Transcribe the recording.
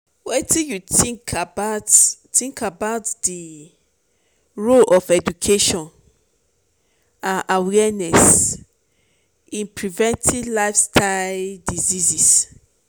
wetin you think about think about di role of education and awareness in preventing lifestyle diseases?